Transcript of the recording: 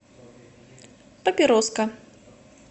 папироска